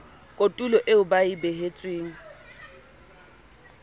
kotulo eo ba e behetsweng